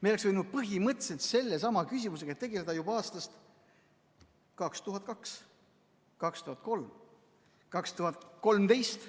Me oleks võinud põhimõtteliselt selle sama küsimusega tegeleda juba aastast 2002, 2003, 2013.